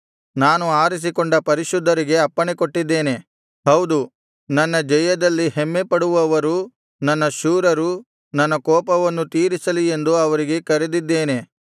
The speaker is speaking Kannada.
ನಾನು ಆರಿಸಿಕೊಂಡ ಪರಿಶುದ್ಧರಿಗೆ ಅಪ್ಪಣೆ ಕೊಟ್ಟಿದ್ದೇನೆ ಹೌದು ನನ್ನ ಜಯದಲ್ಲಿ ಹೆಮ್ಮೆಪಡುವವರು ನನ್ನ ಶೂರರು ನನ್ನ ಕೋಪವನ್ನು ತೀರಿಸಲಿ ಎಂದು ಅವರಿಗೆ ಕರೆದಿದ್ದೇನೆ